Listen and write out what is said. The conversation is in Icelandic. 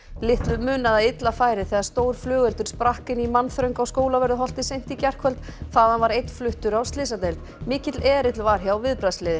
litlu munaði að illa færi þegar stór flugeldur sprakk inni í mannþröng á Skólavörðuholti seint í gærkvöld þaðan var einn fluttur á slysadeild mikill erill var hjá